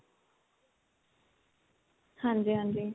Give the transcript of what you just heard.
ਹਾਂਜੀ ਹਾਂਜੀ